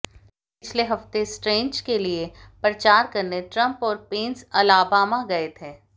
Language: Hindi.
पिछले हफ्ते स्ट्रेंज के लिए प्रचार करने ट्रंप और पेंस अलाबामा गए थे